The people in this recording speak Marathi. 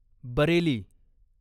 बरेली